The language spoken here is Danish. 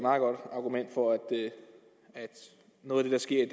argument for at noget af det der sker i